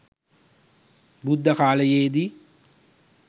බුද්ධ කාලයේ දී